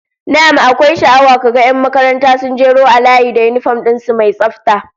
Na'am, akwai sha'awa ka ga 'yan makaranta sun jeru a layi da yinifom din su mai tsafta